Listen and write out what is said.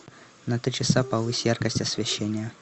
на три часа повысь яркость освещения